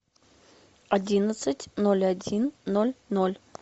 одиннадцать ноль один ноль ноль